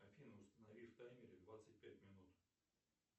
афина установи в таймере двадцать пять минут